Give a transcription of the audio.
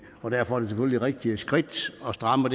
og derfor selvfølgelig et rigtigt skridt at stramme